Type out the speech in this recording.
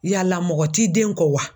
Yala mɔgɔ t'i den kɔ wa?